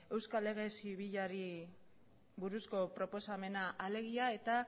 euskal lege zibilari buruzko proposamena alegia eta